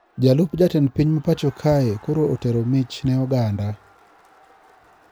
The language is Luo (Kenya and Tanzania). Jalup jatend piny ma pacho kae koro otero mich ne Oganda.